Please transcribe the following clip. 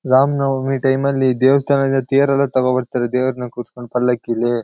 ರಾಮ್ನವಮಿ ಟೈಮ್ಅಲ್ ದೇವಸ್ಥಾನದಿಂದ ತೇರೆಲ್ಲ ತಗೋಬರ್ತಾರೆ ದೆವ್ರ್ನಾ ಕೂರ್ಸ್ಕೊಂಡು ಪಲ್ಲಕ್ಕಿಲಿ.